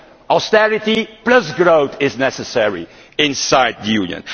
Austerity plus growth is necessary inside the Union.